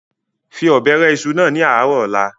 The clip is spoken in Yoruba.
fi Ọ̀bẹ rẹ ìṣù náà ni ààrọ̀ ọ̀la!